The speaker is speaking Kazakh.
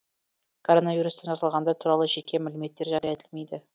коронавирустан жазылғандар туралы жеке мәліметтер жария етілмейді